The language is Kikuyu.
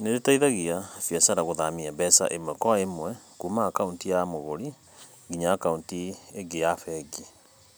nĩ ĩteithagia biacara gũthamia mbeca ĩmwe kwa ĩmwe kuuma akaunti ya mũgũri nginya akaunti ĩngĩ ya bengi,